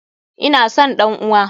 Ina son ɗan uwa!